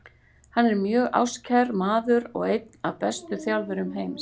Hann er mjög ástkær maður og einn af bestu þjálfurum heims.